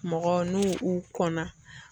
Mɔgɔ n'u u kɔnna